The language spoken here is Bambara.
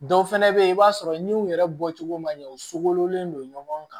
Dɔw fɛnɛ be ye i b'a sɔrɔ ni u yɛrɛ bɔcogo ma ɲɛ u sogolen don ɲɔgɔn kan